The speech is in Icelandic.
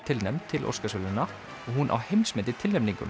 tilnefnd til Óskarsverðlauna og hún á heimsmet í tilnefningum